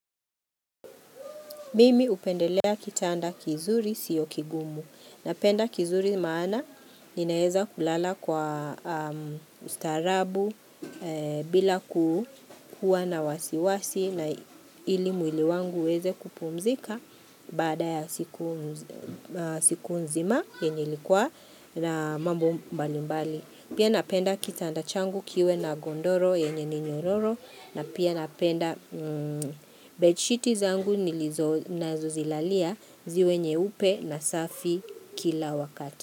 Mimi upendelea kitanda kizuri siyokigumu. Napenda kizuri maana ninaeza kulala kwa ustarabu bila kuuwa na wasiwasi na ili mwili wangu weze kupumzika bada ya siku nzima yenye likua na mambo mbali mbali. Pia napenda kitandachangu kiwe na gondoro yenye ninyororo na pia napenda bedsheetizangu nilizo na zozilalia ziwe nyeupe na safi kila wakati.